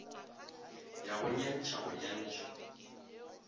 ya go nyantšha go nyantšha